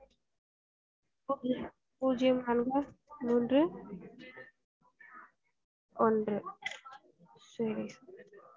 பூஜ்யம் பூஜ்யம் நான்கு மூன்று ஒன்றுசரி